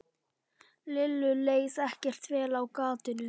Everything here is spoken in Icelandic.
Lillu leið ekkert vel á gatinu.